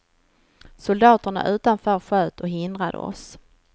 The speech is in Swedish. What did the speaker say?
Soldaterna utanför sköt och hindrade oss.